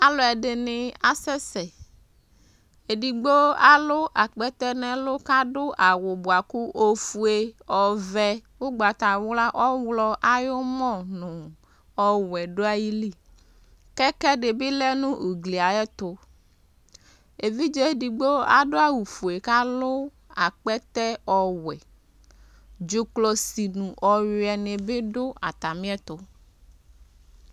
Alu ɛdini asɛsɛ Édigbo alu akpɛtɛ nɛ ɛlu Ka ɖu awu buaku ofué, oʋɛ, ugbata wlua, ɔwlɔ ayɔmɔ̃ nu ɔwʊɛ du ayili Kɛ ɛdi bi lɛ nu uglɩ ayɛtu Évidjé édigbo adu awu ofué ka alu akpɛtɛ ɔwuɛ Ɖzukɔsi nu ɔyuɛ ni bi du ataliɛtu